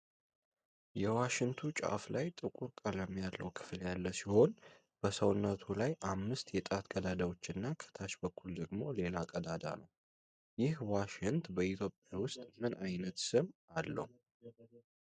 የዋሽንቱ ጫፍ ላይ ጥቁር ቀለም ያለው ክፍል ያለ ሲሆን፤ በሰውነቱ ላይ አምስት የጣት ቀዳዳዎች እና ከታች በኩል ደግሞ ሌላ ቀዳዳ ነው። ይህ ዋሽንት በኢትዮጵያ ውስጥ ምን አይነት ስም አለው?